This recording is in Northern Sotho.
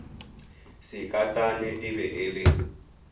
sekatane e be e le